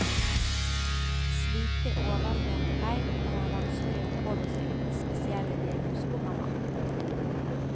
Slike overflatefeil kan være vanskelige å påvise uten spesielle diagnoseprogrammer.